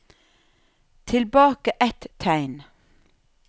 Tilbake ett tegn